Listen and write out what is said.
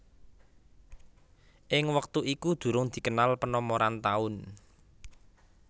Ing wektu itu durung dikenal penomoran taun